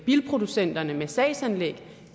bilproducenterne med sagsanlæg